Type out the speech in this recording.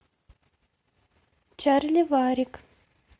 чарли варрик